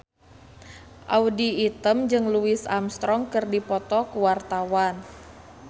Audy Item jeung Louis Armstrong keur dipoto ku wartawan